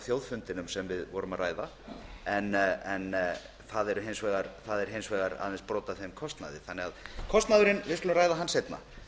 þjóðfundinum sem við vorum að ræða en það er hins vegar aðeins brot af kostnaðinum en við skulum ræða kostnaðinn